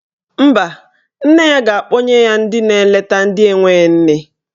Mba, nne ya ga-akpọnye ya ndị na-eleta ndị enwe nne.